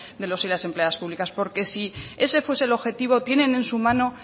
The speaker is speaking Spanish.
de los y las empleadas públicas porque si ese fuese el objetivo tienen en su mano